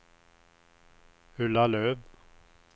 Ulla Löf